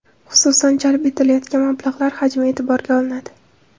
Xususan, jalb etilayotgan mablag‘lar hajmi e’tiborga olinadi.